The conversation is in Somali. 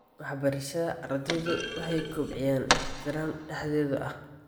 Waxbarashada, ardaydu waxay kobciyaan ixtiraam dhexdooda ah.